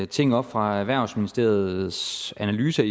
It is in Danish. ting op fra erhvervsministeriets analyse